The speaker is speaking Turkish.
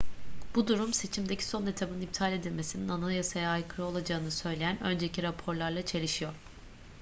bu durum seçimdeki son etabın iptal edilmesinin anayasaya aykırı olacağını söyleyen önceki raporlarla çelişiyor